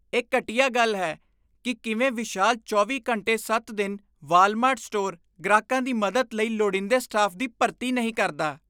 ਇਹ ਘਟੀਆ ਗੱਲ ਹੈ ਕੀ ਕਿਵੇਂ ਇਹ ਵਿਸ਼ਾਲ ਚੌਵੀਂ ਘੰਟੇ ਸੱਤ ਦਿਨ ਵਾਲਮਾਰਟ ਸਟੋਰ ਗ੍ਰਾਹਕਾਂ ਦੀ ਮਦਦ ਲਈ ਲੋੜੀਂਦੇ ਸਟਾਫ ਦੀ ਭਰਤੀ ਨਹੀਂ ਕਰਦਾ